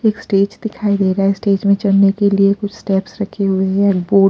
एक स्टेज दिखाई दे रहा है स्टेज में चलने के लिए कुछ स्टेप्स रखे हुए हैं बो--